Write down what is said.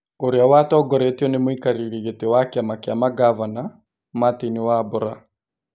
Ũrĩa watongoretio nĩ mũikarĩri gĩtĩ wa kĩama kĩa mangavana, Martin Wambora.